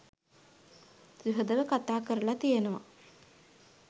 සුහුදව කතා කරලා තියෙනවා